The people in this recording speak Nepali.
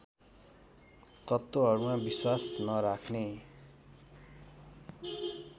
तत्त्वहरूमा विश्वास नराख्ने